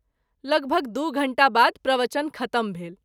लगभग दू घंटा बाद प्रवचन ख़त्म भेल।